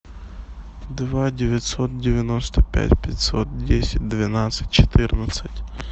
два девятьсот девяносто пять пятьсот десять двенадцать четырнадцать